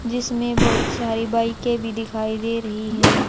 जिसमें बहुत सारी बाईके भी दिखाई दे रही हैं।